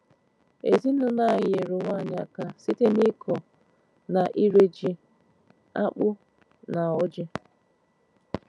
Ezinụlọ anyị nyeere onwe anyị aka site n’ịkọ na ire ji, akpụ, na ọjị́.